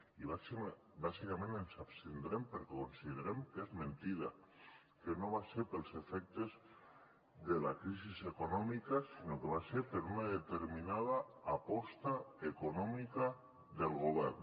i bàsicament ens abstindrem perquè considerem que és mentida que no va ser pels efectes de la crisi econòmica sinó que va ser per una determinada aposta econòmica del govern